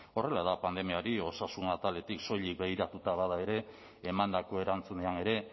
horrela da pandemiari osasun ataletik soilik begiratuta bada ere emandako erantzunean ere